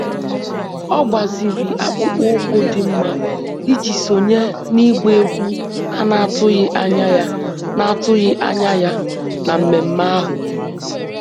Ọ gbaziri akpụkpọ ụkwụ dị mma iji sonye n'ịgba egwu a na-atụghị anya ya na-atụghị anya ya na mmemme ahụ